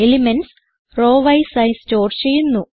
elements row wise ആയി store ചെയ്യുന്നു